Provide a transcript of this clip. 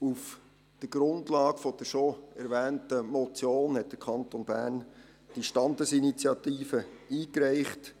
Auf der Grundlage der bereits erwähnten Motion reichte der Kanton Bern eine entsprechende Standesinitiative ein.